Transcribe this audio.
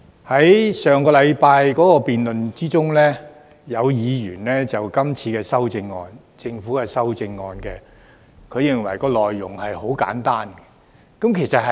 在上星期的辯論中，有委員認為今次政府修正案的內容很簡單，其實是的。